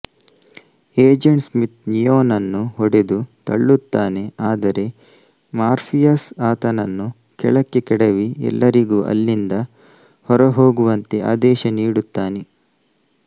agent Smith ನಿಯೋನನ್ನು ಹೊಡೆದು ತಳ್ಳುತ್ತಾನೆ ಆದರೆ ಮಾರ್ಫಿಯಸ್ ಆತನನ್ನು ಕೆಳಕ್ಕೆ ಕೆಡವಿ ಎಲ್ಲರಿಗೂ ಅಲ್ಲಿಂದ ಹೊರಹೋಗುವಂತೆ ಆದೇಶ ನೀಡುತ್ತಾನೆ